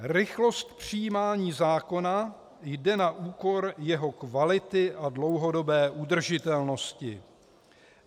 Rychlost přijímání zákona jde na úkor jeho kvality a dlouhodobé udržitelnosti.